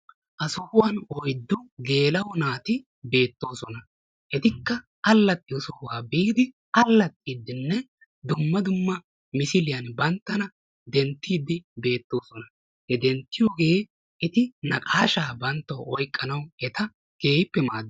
Ha sohuwan oyddu gela''o naati beettoosona. Etikka allaxxiyo sohuwa biidi allaxxidinne dumma dumma misiliyan banttana denttidi beettoosona. he denttiyooge eti naqashsha banttawu oyqqanawu keehippe maaddees.